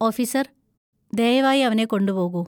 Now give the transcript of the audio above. Officer, ദയവായി അവനെ കൊണ്ടുപോകൂ.